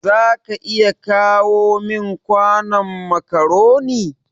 za ka iya kawo min kwanon macaroni.